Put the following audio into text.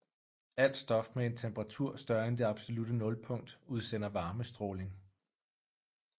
Alt stof med en temperatur større end det absolutte nulpunkt udsender varmestråling